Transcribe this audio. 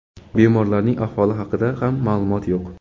Bemorlarning ahvoli haqida ham ma’lumot yo‘q.